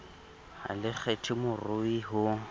ha le kgethe morui ho